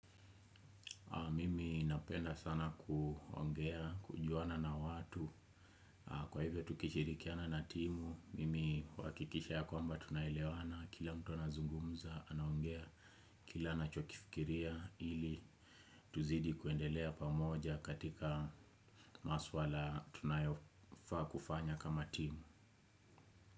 Mimi napenda sana kuongea, kujuana na watu. Kwa hivyo tukishirikiana na timu mimi huakikisha ya kwamba tunaelewana. Kila mtu anazungumza anaongea. Kila anachokifikiria, ili tuzidi kuendelea pamoja katika masuala tunayofaa kufanya kama timu.